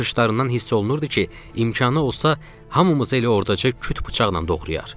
Baxışlarından hiss olunurdu ki, imkanı olsa hamımızı elə orada küt bıçaqla doğrayar.